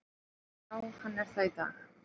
Já hann er það í dag!